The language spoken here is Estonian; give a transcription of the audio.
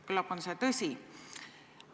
Küllap on see tõsi.